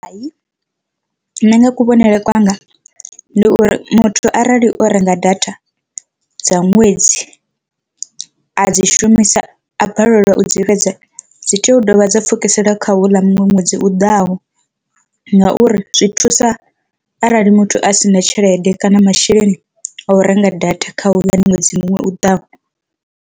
Hai, nṋe nga kuvhonele kwanga ndi uri muthu arali o renga data dza ṅwedzi a dzi shumisa a balelwa u dzi fhedza dzi tea u dovha dza pfukisela kha houḽa muṅwe ṅwedzi u ḓaho, ngauri zwi thusa arali muthu a sina tshelede kana masheleni a u renga data kha houḽani ṅwedzi u ḓaho.